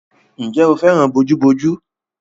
Ǹjẹ́ o fẹ́ràn bojúbojú?